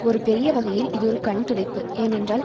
ஒரு பெரிய வகையில் இது ஒரு கண்துடைப்பு ஏனென்றால்